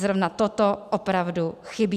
Zrovna toto opravdu chybí.